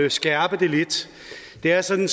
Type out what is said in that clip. at skærpe det lidt det er sådan